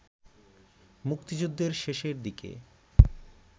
মুক্তিযুদ্ধের শেষের দিকে